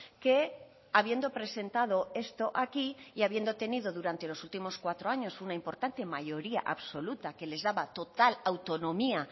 que habiendo presentado esto aquí y habiendo tenido durante los últimos cuatro años una importante mayoría absoluta que les daba total autonomía